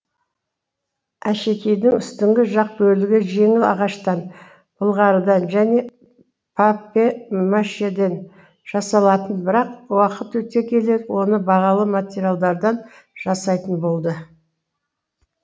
әшекейдің үстіңгі жақ бөлігі жеңіл ағаштан былғарыдан және папье машеден жасалатын бірақ уақыт өте келе оны бағалы материалдардан жасайтын болды